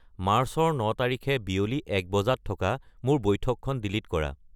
মাৰ্চৰ ন তাৰিখে বিয়লি এক বজাত থকা মোৰ বৈঠকখন ডিলিট কৰা